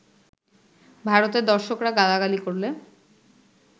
ভারতের দর্শকরা গালাগালি করলে